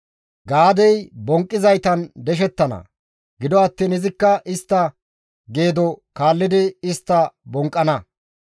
«Gaadey bonqqizaytan deshettana; gido attiin izikka istta geedo kaallidi istta bonqqana.